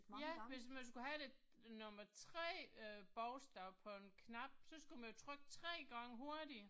Ja, hvis man skulle have det, nummer 3 øh bogstav på en knap, så skulle man trykke 3 gange hurtigt